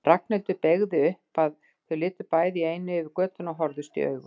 Ragnhildur beygði upp, að þau litu bæði í einu yfir götuna og horfðust í augu.